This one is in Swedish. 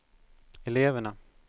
eleverna